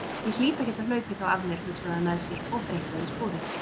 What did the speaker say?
Ég hlýt að geta hlaupið þá af mér, hugsaði hann með sér og greikkaði sporið.